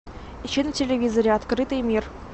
ищи на телевизоре открытый мир